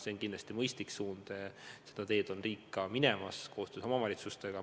See on kindlasti mõistlik suund ja seda teed on minemas ka riik koostöös omavalitsustega.